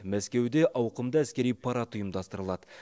мәскеуде ауқымды әскери парад ұйымдастырылады